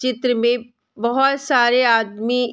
चित्र में बहोत सारे आदमी --